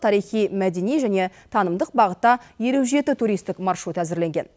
тарихи мәдени және танымдық бағытта елу жеті туристік маршрут әзірленген